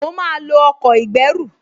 Mo máa lo ọkọ̀ ìgbẹ́rù